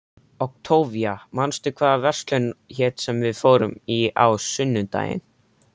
Októvía, manstu hvað verslunin hét sem við fórum í á sunnudaginn?